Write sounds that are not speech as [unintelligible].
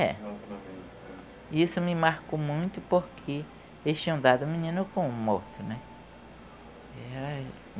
É. Isso me marcou muito porque eles tinham dado o menino como morto, né? [unintelligible]